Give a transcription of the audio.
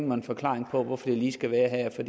mig en forklaring på hvorfor det lige skal være her for